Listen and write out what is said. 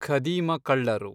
ಖದೀಮ ಕಳ್ಳರು